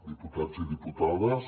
diputats i diputades